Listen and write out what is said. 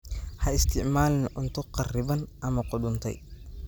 Ha isticmaalin cunto kharriban ama qudhuntay.